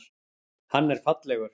Hann er fallegur.